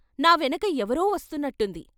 నా వెనక ఎవరో వస్తున్నట్టుంది.